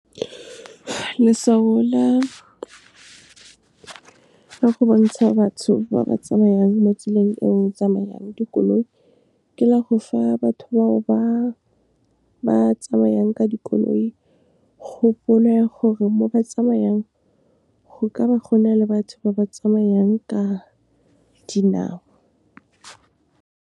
Leswao la ka go bontsha batho ba ba tsamayang mo tseleng eo tsamayang dikoloi, ke la go fa batho bao ba tsamayang ka dikoloi, kgopolo ya gore mo ba tsamayang, go ka ba go na le batho ba ba tsamayang ka dinao.